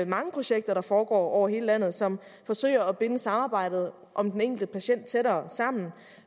mange projekter der foregår over hele landet og som forsøger at binde samarbejdet om den enkelte patient tættere sammen